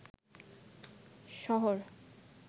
শহর